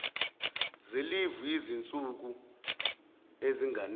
zelivu yezinsuku ezinganele